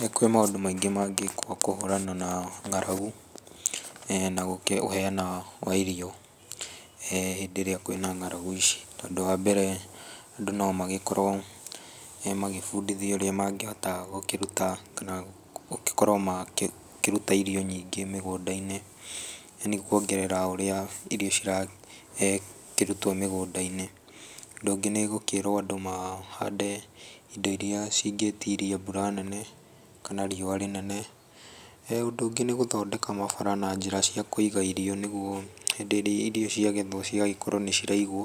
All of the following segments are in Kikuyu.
Nĩ kurĩ maũndũ maingĩ mangĩkwo kũhũrana na ng'aragu, na gũkiheana kwa irio, hĩndĩ ĩrĩa kwĩ na ng'aragu ici. Tondũ wa mbere, andũ no magĩkorwo magĩbundithio ũrĩa mangĩhota gũkĩruta kana gũgĩkorwo makĩruta irio nyingĩ mĩgũnda-inĩ, nĩ kwongerera ũrĩa irio cirakĩrutwo mĩgũnda-inĩ. Ũndũ ũngĩ nĩ gũkĩrwo andũ mahande indo iria cingĩtiria mbura nene kana rĩũa rĩnene. Ũndũ ũngĩ nĩ gũthondeka mabara na njĩra cia kũiga irio nĩguo hĩndĩ ĩrĩa irio ciagethwo cigagĩkorwo nĩ ciraigwo,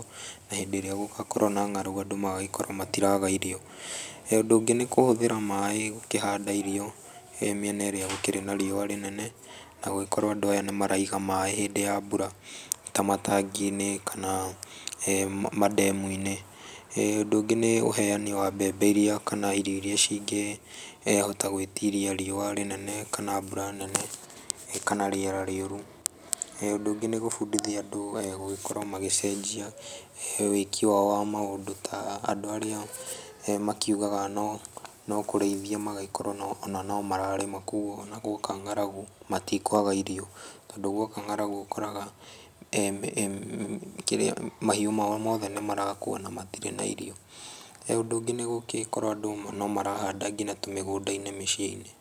na hĩndĩ ĩrĩa gũgakorwo na ng'aragu andũ magakorwo matiraga irio. Ũndũ ũngĩ nĩ kũhũthĩra maaĩ gũkĩhanda irio mĩena ĩrĩa gũkĩrĩ na rĩũa rĩnene na gũgĩkorwo andũ aya nĩ maraiga maaĩ hĩndĩ ya mbura ta matangi-inĩ kana mandemu-inĩ. Ũndũ ũngĩ nĩ ũheane wa mbembe iria kana irio iria cingĩhota gwĩtiria rĩũa rĩnene kana mbura nene, kana rĩera rĩũru. Ũndũ ũngĩ nĩ gũbundithia andũ gũgĩkorwo magĩcenjia wĩki wao wa maũndũ ta andũ arĩa makiugaga no kũrĩithia magagĩkorwo ona no mararĩma gwoka ng'aragu matikũaga irio. Tondũ gwoka ng'aragu ũkoraga mahiũ mao mothe nĩ marakua na matirĩ na irio. Ũndũ ũngĩ nĩ gũgĩkorwo andũ no marahanda nginya tũmĩgũnda-inĩ mĩciĩ-inĩ.